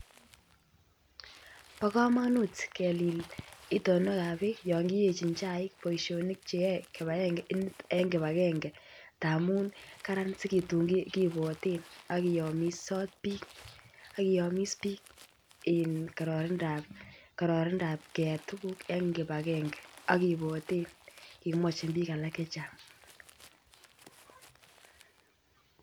Bo komonut kelil itonwek ab bik boisionik Che yoe yon kiyechin chaik en kibagenge amun kararan si tun kibwoten ak kiyomisot bik ak kiyomis bik en kararindap keyai tuguk en kibagenge ak kibwoten kemwochin bik alak Che Chang